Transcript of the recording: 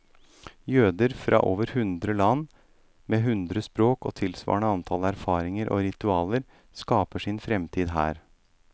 Jøder fra over hundre land, med hundre språk og tilsvarende antall erfaringer og ritualer, skaper sin fremtid her.